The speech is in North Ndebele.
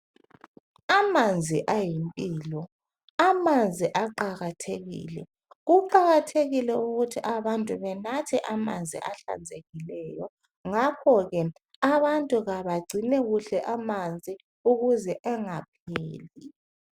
Amanzi ayimpilo amanzi aqakathekile kuqakathekile ukuthi abantu benathe amanzi ahlenzekileyo ngakhoke abantu kabagcina kuhle amanzi ukuze engapheli.